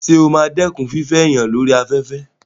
Sọ ma dẹ́kun fífẹ́ èèyàn lórí afẹ́fẹ́?